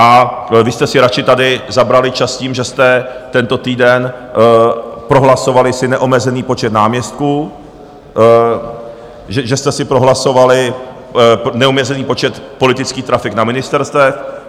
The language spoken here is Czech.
A vy jste si radši tady zabrali čas tím, že jste tento týden prohlasovali si neomezený počet náměstků, že jste si prohlasovali neomezený počet politických trafik na ministerstvech.